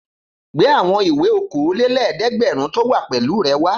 Gbé àwọn ìwé okòólélẹ́ẹ̀dẹ́gbẹ̀rún tó wà pẹ̀lú rẹ wá!